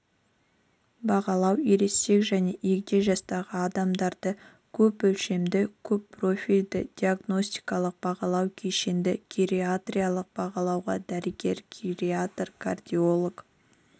бағалау ересек және егде жастағы адамдарды көпөлшемді көппрофильді диагностикалық бағалау кешенді гериатриялық бағалауға дәрігер-гериатр кардиолог